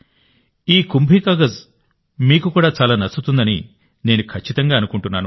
ఈ కుంభీ కాగజ్ మీకు కూడా చాలా నచ్చుతుందని నేను ఖచ్చితంగా అనుకుంటున్నాను